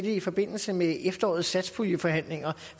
i forbindelse med efterårets satspuljeforhandlinger